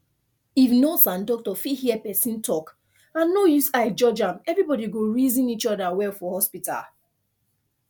if nurse and doctor fit hear person talk and no use eye judge am everybody go reason each other well for hospital